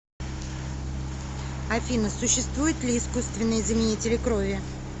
афина существуют ли искусственные заменители крови